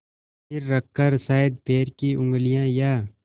सिर रखकर शायद पैर की उँगलियाँ या